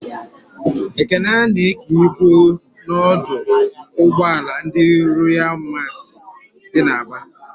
Ekene na-èké ibu n'ọdụ ụgbọala ndị Royalụ Masị dị n'Aba.